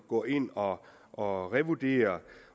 går ind og og revurderer